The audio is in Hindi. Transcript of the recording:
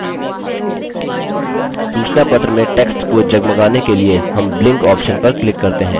सूचनापत्र में text को जगमगाने के लिए हम blink option पर click करते हैं